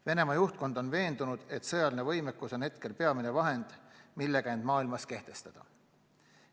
Venemaa juhtkond on veendunud, et sõjaline võimekus on peamine vahend, millega end maailmas kehtestada.